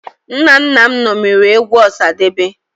Nna nna m ṅomiri egwu Ọsadebe